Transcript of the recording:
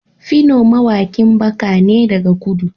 phyno mawaƙin baka ne daga kudu